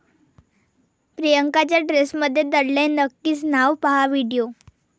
प्रियांकाच्या ड्रेसमध्ये दडलंय निकचं नाव, पाहा व्हिडिओ